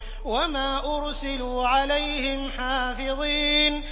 وَمَا أُرْسِلُوا عَلَيْهِمْ حَافِظِينَ